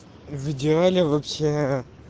в идеале вообще